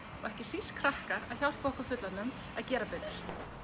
ekki síst krakkar að hjálpa okkur fullorðnum að gera betur